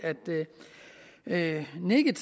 at nikke